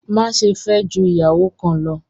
Máṣẹ̀ fẹ́ jù iyàwọ́ kán lọ̀!